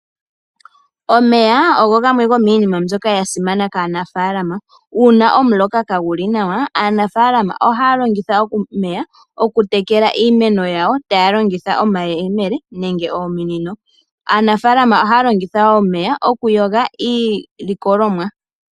Omeya ogo gamwe gomiinima mbyoka yasimana kaanafalama, uuna omuloka kaaguli nawa aanafalama ohaya longitha omeya oku tekela iimeno yayo taya longitha omayemele nenge ominino. Aanafalama ohaya longitha omeya okuyoga iilikolomwa.